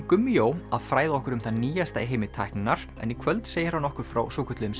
Gummi jó að fræða okkur um það nýjasta í heimi tækninnar en í kvöld segir hann okkur frá svokölluðum